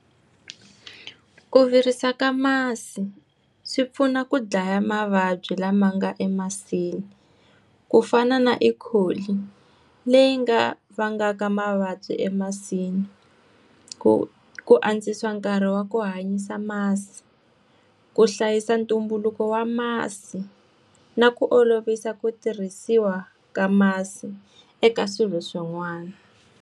Ku virisa ka masi, swi pfuna ku dlaya mavabyi lama nga emasini. Ku fana na ecoli, leyi nga vangaka mavabyi emasini. Ku ku antswisa nkarhi wa ku hanyisa masi, ku hlayisa ntumbuluko wa masi, na ku olovisa ku tirhisiwa ka masi eka swilo swin'wana.